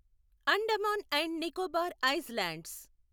Andaman and Nicobar islands